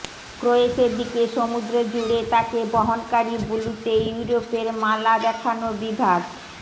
ক্রোয়েশের দিকে সমুদ্র জুড়ে তাকে বহনকারী বুলুতে ইউরোপের মালা দেখানো বিভাগ